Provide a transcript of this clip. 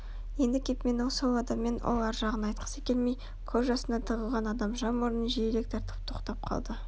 енді кеп мен сол адаммен ол ар жағын айтқысы келмей көз жасына тығылған адамша мұрнын жиірек тартып тоқтап қалды